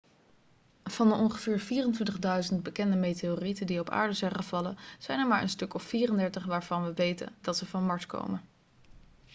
van de ongeveer 24.000 bekende meteorieten die op aarde zijn gevallen zijn er maar een stuk of 34 waarvan we weten dat ze van mars komen